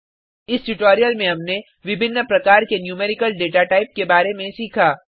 इस ट्यूटोरियल में हमनें विभिन्न प्रकार के न्यूमेरिकल डेटाटाइप के बारे में सीखा